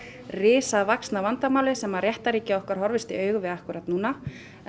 risavaxna vandamáli sem að réttarríkið okkar horfist í augu við akkúrat núna